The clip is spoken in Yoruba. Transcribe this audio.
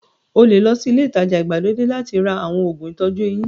O lè lọ sí ilé-ìtajà ìgbàlódé láti ra àwọn òògùn ìtọ́jú eyín.